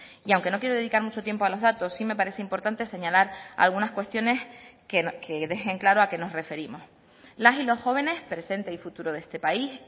y aunque no quiero dedicar mucho tiempo a los datos sí me parece importante señalar algunas cuestiones que dejen claro a qué nos referimos las y los jóvenes presente y futuro de este país